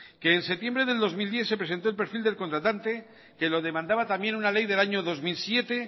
que en septiembre del dos mil diez se presentó el perfil del contratante que lo demandaba también una ley del año dos mil siete